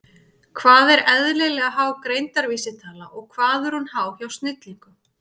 Hvað er eðlilega há greindarvísitala og hvað er hún há hjá snillingum?